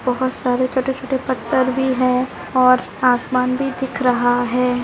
बहुत सारे कटे फूटे पत्थर भी है और आसमान भी दिख रहा है।